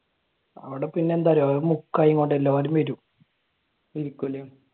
അവിടെ പിന്നെയെന്താ അറിയോ എല്ലാവരും വരും